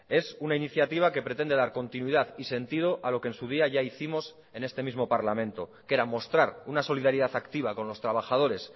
es una iniciativa que pretende dar continuidad y sentido a lo que en su día ya hicimos en este mismo parlamento que era mostrar una solidaridad activa con los trabajadores